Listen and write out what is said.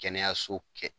Kɛnɛyaso kɛ